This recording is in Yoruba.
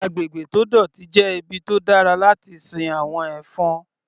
Agbègbè tó dọ̀tí jẹ́ ibi tó dára láti sin àwọn ẹ̀fọn.